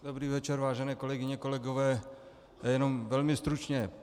Dobrý večer, vážené kolegyně, kolegové, jenom velmi stručně.